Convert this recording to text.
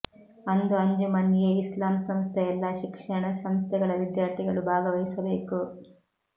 ಅಂದು ಅಂಜುಮನ್ ಏ ಇಸ್ಲಾಂ ಸಂಸ್ಥೆಯ ಎಲ್ಲ ಶಿಕ್ಷಣ ಸಂಸ್ಥೆಗಳ ವಿದ್ಯಾರ್ಥಿಗಳು ಭಾಗವಹಿಸಬೇಕು